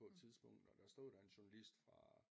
På et tidspunkt og der stod der en journalist fra